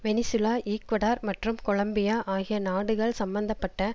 Venezuela Ecuador மற்றும் Colombia ஆகிய நாடுகள் சம்பந்த பட்ட